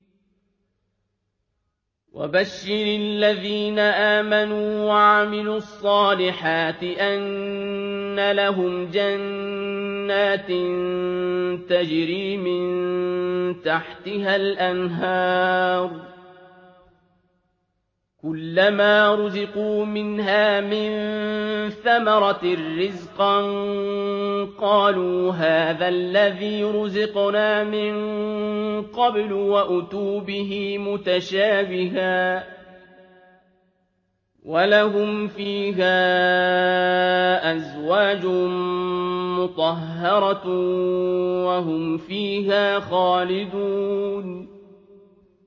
وَبَشِّرِ الَّذِينَ آمَنُوا وَعَمِلُوا الصَّالِحَاتِ أَنَّ لَهُمْ جَنَّاتٍ تَجْرِي مِن تَحْتِهَا الْأَنْهَارُ ۖ كُلَّمَا رُزِقُوا مِنْهَا مِن ثَمَرَةٍ رِّزْقًا ۙ قَالُوا هَٰذَا الَّذِي رُزِقْنَا مِن قَبْلُ ۖ وَأُتُوا بِهِ مُتَشَابِهًا ۖ وَلَهُمْ فِيهَا أَزْوَاجٌ مُّطَهَّرَةٌ ۖ وَهُمْ فِيهَا خَالِدُونَ